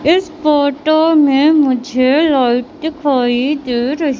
इस फोटो में मुझे लाइट दिखाई दे रही--